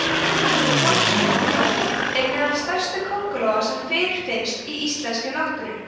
krossköngulóin er meðal stærstu köngulóa sem fyrirfinnast í íslenskri náttúru